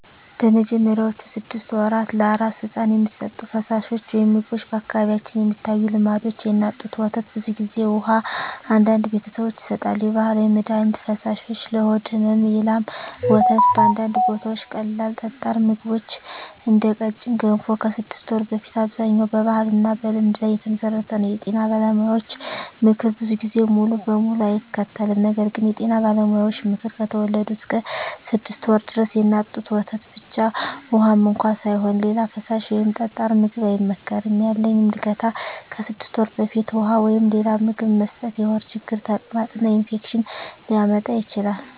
በመጀመሪያዎቹ 6 ወራት ለአራስ ሕፃን የሚሰጡ ፈሳሾች/ምግቦች በአካባቢዎች የሚታዩ ልምዶች፦ የእናት ጡት ወተት (ብዙ ጊዜ) ውሃ (አንዳንድ ቤተሰቦች ይሰጣሉ) የባህላዊ መድሀኒት ፈሳሾች (ለሆድ ሕመም) የላም ወተት (በአንዳንድ ቦታዎች) ቀላል ጠጣር ምግቦች (እንደ ቀጭን ገንፎ) ከ6 ወር በፊት አብዛኛው በባህልና በልምድ ላይ የተመሠረተ ነው የጤና ባለሙያዎች ምክር ብዙ ጊዜ ሙሉ በሙሉ አይከተልም ነገር ግን የጤና ባለሙያዎች ምክር፦ ከተወለዱ እስከ 6 ወር ድረስ የእናት ጡት ወተት ብቻ (ውሃም እንኳ ሳይሆን) ሌላ ፈሳሽ ወይም ጠጣር ምግብ አይመከርም ያለኝ ምልከታ ከ6 ወር በፊት ውሃ ወይም ሌላ ምግብ መስጠት የሆድ ችግር፣ ተቅማጥ እና ኢንፌክሽን ሊያመጣ ይችላል